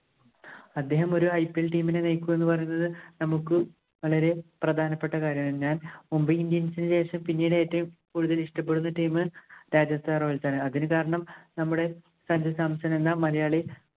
അദ്ദേഹം ഒരു IPLteam ഇനെ നയിക്കുക എന്ന് പറയുന്നത് നമുക്ക് വളരെ പ്രധാനപ്പെട്ട കാര്യമാണ്. ഞാന്‍ Mumbai Indians ഇന് ശേഷം പിന്നീടു ഏറ്റവും കൂടുതൽ ഇഷ്ടപ്പെടുന്ന team Rajasthan Royals ആണ്. അതിനു കാരണം നമ്മുടെ സഞ്ജു സാംസണ്‍ എന്ന മലയാളി